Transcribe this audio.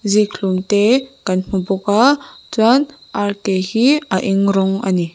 zikhlum tee kan hmu bawk aa chuan ar ke hi a eng rawng a ni.